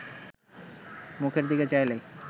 মুখের দিকে চাইলে